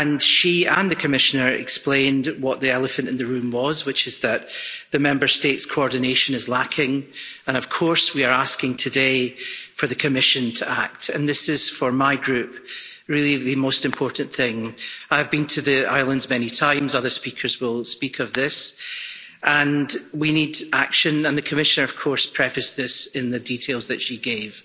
She and the Commissioner explained what the elephant in the room was Member State coordination is lacking. We are asking today for the Commission to act this, for my group, is really the most important thing. I've been to the islands many times other speakers will speak of this and we need action, and the Commissioner prefaced this in the details that she gave.